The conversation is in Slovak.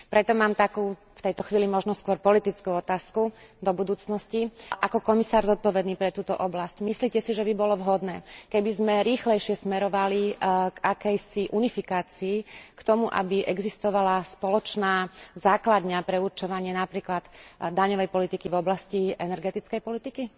Preto mám takú, v tejto chvíli možno skôr politickú, otázku do budúcnosti. Ako komisár zodpovedný pre túto oblasť, myslíte si, že by bolo vhodné, keby sme rýchlejšie smerovali k akejsi unifikácii, k tomu, aby existovala spoločná základňa pre určovanie napríklad daňovej politiky v oblasti energetickej politiky?